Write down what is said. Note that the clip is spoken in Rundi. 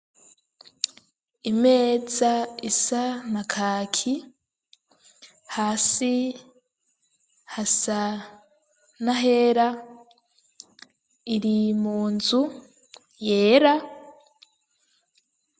Imeza isa na kaki hasi hasa n'ahera iri mu nzu yera.